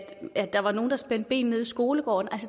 der var nogle der spændte ben nede i skolegården